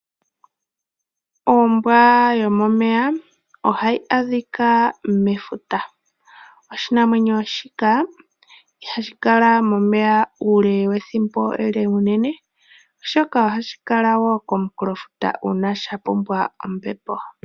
Ombwa yomomeya ohayi adhika mefuta oshinamwenyo shika ihashi kala momeya uule wethimbo olindji unene oshoka ohashi kala wo komunkulo futa.